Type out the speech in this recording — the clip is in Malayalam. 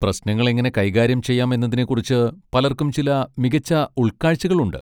പ്രശ്നങ്ങൾ എങ്ങനെ കൈകാര്യം ചെയ്യാം എന്നതിനെക്കുറിച്ച് പലർക്കും ചില മികച്ച ഉൾക്കാഴ്ചകൾ ഉണ്ട്.